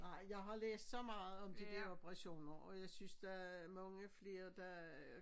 Nej jeg har læst så meget om de dér operationer og jeg synes der er mange flere der